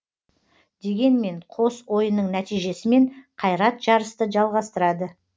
дегенмен қос ойынның нәтижесімен қайрат жарысты жалғастырады